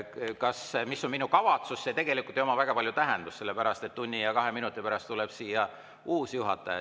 See, mis on minu kavatsus, ei oma tegelikult väga palju tähendust, sest tunni ja kahe minuti pärast tuleb siia uus juhataja.